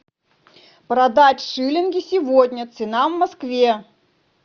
продать шиллинги сегодня цена в москве